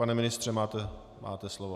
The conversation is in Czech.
Pane ministře, máte slovo.